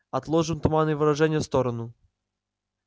отложим туманные выражения в сторону